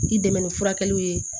K'i dɛmɛ ni furakɛliw ye